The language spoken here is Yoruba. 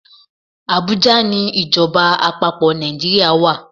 Abuja ni Ìjọba àpapò Nàìjíríà wa.